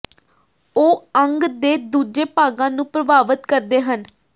ਉਹ ਅੰਗ ਦੇ ਦੂਜੇ ਭਾਗਾਂ ਨੂੰ ਪ੍ਰਭਾਵਤ ਕਰਦੇ ਹਨ